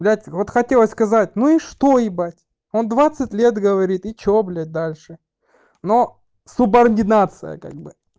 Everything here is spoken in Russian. блядь вот хотела сказать ну и что ебать он двадцать лет говорит и что блядь дальше но субординация как бы